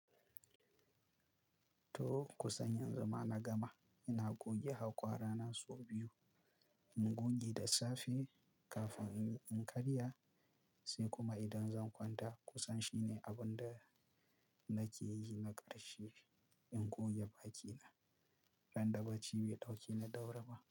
To, kusan yanzu ma na gama. Ina goge hakwara na sau biyu, in goge da safe kafin in karya, sai kuma idan zan kwanta. Kusan shine abunda nakeyi na karshe, in goge bakina, ran da bacci bai daukeni da wuri ba.